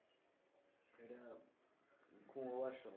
ঘুমোবার সময়